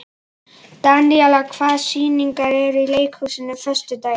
Daníela, hvaða sýningar eru í leikhúsinu á föstudaginn?